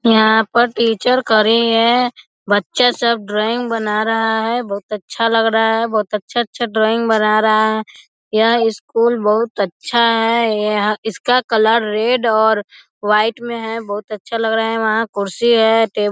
यहाँ पर टीचर खड़े हैं बच्चे सब ड्राइंग बना रहा हैं बहुत अच्छा लग रहा है बहुत अच्छे-अच्छे ड्राइंग बना रहा है यह स्कूल बहुत अच्छा है इसका कलर रेड और व्हाइट में है बहुत अच्छा लग रहा है वहाँ कुर्सी है टे --